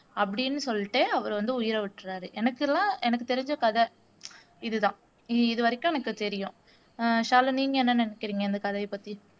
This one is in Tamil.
அப்படின்னு சொல்லிட்டு அவரு வந்து உயிரை விட்டுராரு எனக்குலாம் எனக்கு தெரிஞ்ச கதை இதுதான். இதுவரைக்கும் எனக்கு தெரியும் ஆஹ் ஷாலு நீங்க என்ன நினைக்கிறீங்க? இந்த கதைய பத்தி